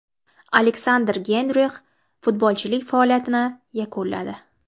Aleksandr Geynrix futbolchilik faoliyatini yakunladi.